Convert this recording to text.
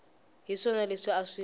hi swona leswi a swi